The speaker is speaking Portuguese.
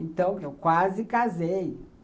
Então, eu quase casei.